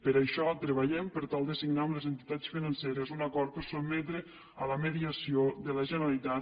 per això treballem per tal de signar amb les entitats financeres un acord per a sotmetre a la mediació de la generalitat